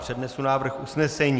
Přednesu návrh usnesení.